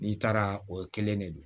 N'i taara o kelen de don